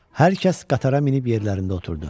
Hər kəs qatara minib yerlərində oturdu.